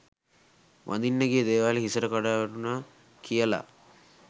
වඳින්න ගිය දේවාලෙ හිසට කඩා වැටුණා කියලා.